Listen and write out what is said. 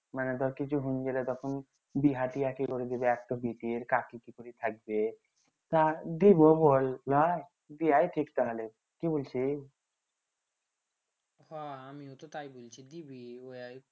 মানে ধর কিছু বিহা তিহা কে করে দিবে কাকী কি করি থাকবে দিবো বল ঠিক তাহলে কি বলছি হ আমিও তো তাই বলছি দিবি